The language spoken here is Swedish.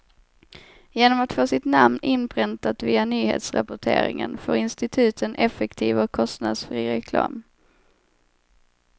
Genom att få sitt namn inpräntat via nyhetsrapporteringen får instituten effektiv och kostnadsfri reklam.